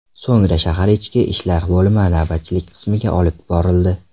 So‘ngra shahar Ichki ishlar bo‘limi navbatchilik qismiga olib borildi.